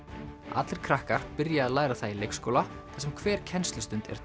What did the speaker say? allir krakkar byrja að læra það í leikskóla þar sem hver kennslustund er